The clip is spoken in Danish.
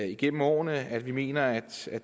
igennem årene at vi mener at